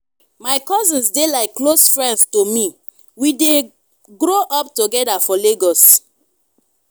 my cousins dey like close friends to me we dey grow up together for lagos.